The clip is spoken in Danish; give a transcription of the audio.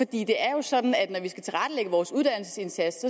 det er jo sådan at når vi skal tilrettelægge vores uddannelsesindsats